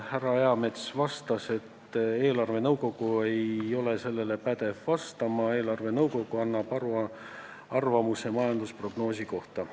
Härra Eamets selgitas, et eelarvenõukogu ei ole sellele kriitikale pädev vastama, eelarvenõukogu annab arvamuse majandusprognoosi kohta.